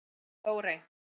Þórey